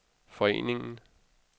foreningen